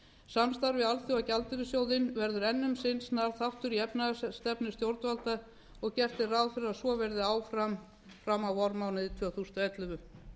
samstarfi alþjóðagjaldeyrissjóðinn verður enn um sinn snar þáttur í efnahagsstefnu stjórnvalda og gert er ráð fyrir að svo verði áfram fram á vormánuði tvö þúsund og ellefu